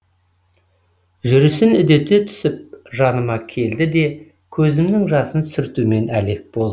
жүрісін үдете түсіп жаныма келді де көзімнің жасын сүртумен әлек болды